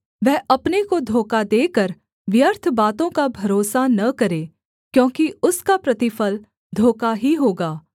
वह अपने को धोखा देकर व्यर्थ बातों का भरोसा न करे क्योंकि उसका प्रतिफल धोखा ही होगा